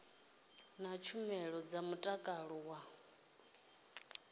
na tshumelo dza mutakalo wa